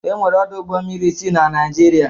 E were ọdụ ụgbọ mmiri isii na Naịjịrịa.